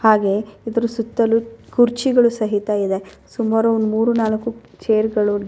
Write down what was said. ಇಲ್ಲಿ ನಾನು ನೋಡುತಿರುವ ಒಂದು ಪಾರ್ಕ್ ಅಲ್ಲಿ ಎಲ್ಲಾ ತರದ ಗಿಡಗಳು ಕಾಣಿಸ್ತಾ ಇದೆ ಮರಗಳಿದೆ ಯಾರೋ ಒಬ್ಬರು ನೀರ್ ಹಾಕ್ತಾಯಿದರೆ ಗಿಡಗಳಿಗೆ ಏನೋ ಬರ್ದಿದ್ದಾರೆ --